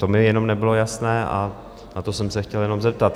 To mi jenom nebylo jasné a na to jsem se chtěl jenom zeptat.